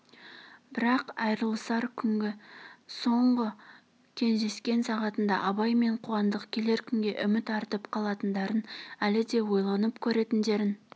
бірақ айрылысар күнгі соңғы кездескен сағатында абай мен қуандық келер күнге үміт артып қалатындарын әлі де ойланып көретіндерін